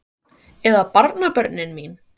Eða barnabörnin mín?